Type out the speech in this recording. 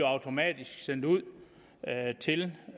automatisk sendt ud til